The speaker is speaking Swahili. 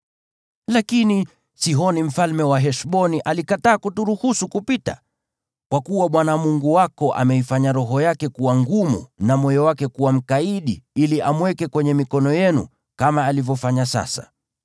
Lakini Sihoni mfalme wa Heshboni alikataa kuturuhusu kupita. Kwa kuwa Bwana Mungu wako alikuwa ameifanya roho yake kuwa ngumu na moyo wake kuwa mkaidi ili amweke kwenye mikono yenu, kama alivyofanya sasa.